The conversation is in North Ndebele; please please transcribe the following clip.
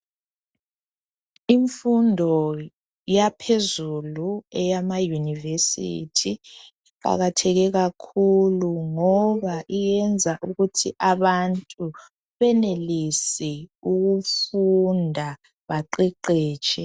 Imfundo yaphezulu eyamauniversity iqakatheke kakhulu ngoba iyenza ukuthi abantu benelise ukufunda baqeqetshe